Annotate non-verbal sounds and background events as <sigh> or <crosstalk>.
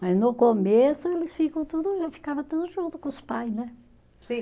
Mas no começo eles ficam tudo, ficava tudo junto com os pais, né? <unintelligible>